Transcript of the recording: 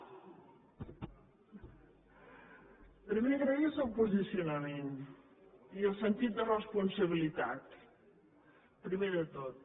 primer agrair el seu posicionament i el sentit de responsabilitat primer de tot